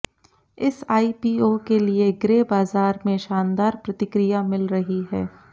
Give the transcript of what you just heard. इस आईपीओ के लिए ग्रे बाजार में शानदार प्रतिक्रिया मिल रही है